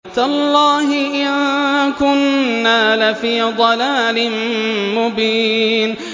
تَاللَّهِ إِن كُنَّا لَفِي ضَلَالٍ مُّبِينٍ